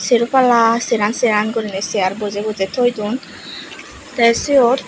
sero palla seran seran guriney chair bojey bojey thoy duon te siyot.